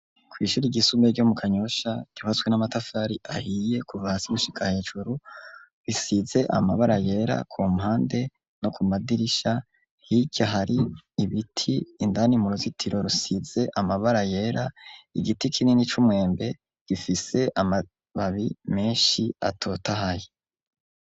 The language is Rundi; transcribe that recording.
Kw'ishuri ryisumbuye ryo mu Kanyosha ryubatswe n'amatafari ahiye kuva hasi gushika hejuru, risize amabara yera ku mpande no ku madirisha. Hirya hari ibiti, indani mu ruzitiro rusize amabara yera, igiti kinini c'umwembe gifise amababi menshi atotahaye.